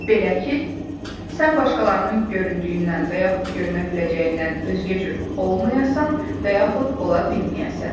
Belə ki, sən başqalarının göründüyündən, və yaxud görünə biləcəyindən özgə cür olmayasan, və yaxud ola bilməyəsən.